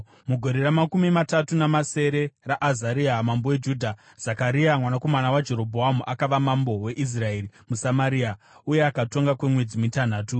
Mugore ramakumi matatu namasere raAzaria mambo weJudha, Zekaria mwanakomana waJerobhoamu akava mambo weIsraeri muSamaria, uye akatonga kwemwedzi mitanhatu.